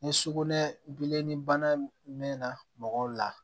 Ni sukunɛ bilenni bana mɛnna mɔgɔw la